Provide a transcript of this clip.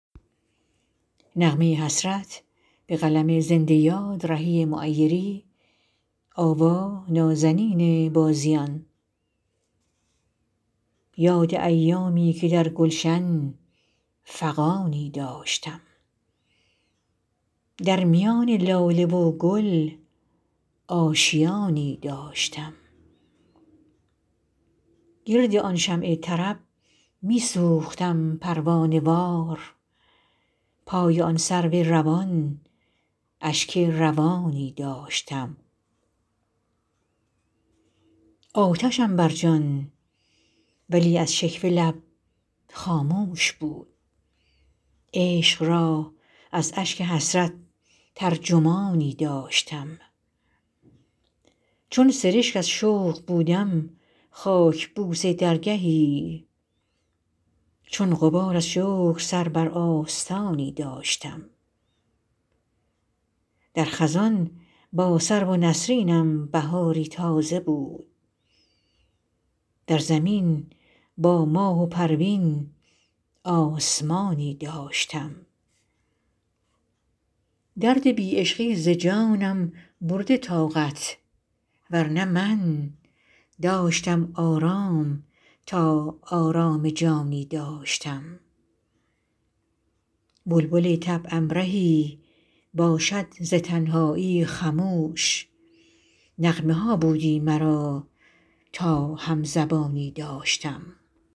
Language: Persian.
یاد ایامی که در گلشن فغانی داشتم در میان لاله و گل آشیانی داشتم گرد آن شمع طرب می سوختم پروانه وار پای آن سرو روان اشک روانی داشتم آتشم بر جان ولی از شکوه لب خاموش بود عشق را از اشک حسرت ترجمانی داشتم چون سرشک از شوق بودم خاک بوس درگهی چون غبار از شکر سر بر آستانی داشتم در خزان با سرو و نسرینم بهاری تازه بود در زمین با ماه و پروین آسمانی داشتم درد بی عشقی ز جانم برده طاقت ورنه من داشتم آرام تا آرام جانی داشتم بلبل طبعم رهی باشد ز تنهایی خموش نغمه ها بودی مرا تا هم زبانی داشتم